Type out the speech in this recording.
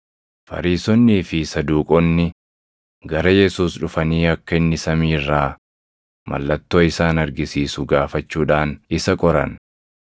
Fariisonnii fi Saduuqonni gara Yesuus dhufanii akka inni samii irraa mallattoo isaan argisiisu gaafachuudhaan isa qoran.